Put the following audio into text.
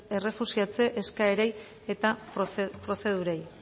errefuxiatze eskaerei eta prozedurei